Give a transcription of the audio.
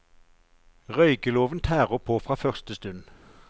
Røykeloven tærer på fra første stund.